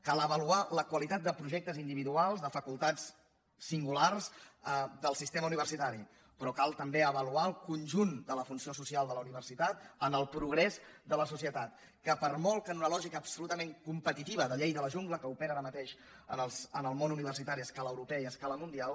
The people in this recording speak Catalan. cal avaluar la qualitat de projectes individuals de facultats singulars del sistema universitari però cal també avaluar el conjunt de la funció social de la universitat en el progrés de la societat que per molt que en una lògica absolutament competitiva de llei de la jungla que opera ara mateix en el món universitari a escala europea i a escala mundial